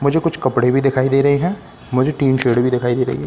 मुझे कुछ कपड़े भी दिखाई दे रहे हैं मुझे टीन शेड भी दिखाई दे रही है।